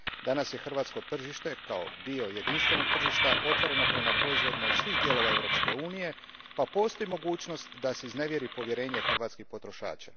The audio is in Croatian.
Danas je hrvatsko tržište kao dio jedinstvenog tržišta otvoreno prema proizvodima iz svih dijelova Europske unije pa postoji mogućnost da se iznevjeri povjerenje hrvatskih potrošača.